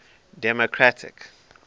democratic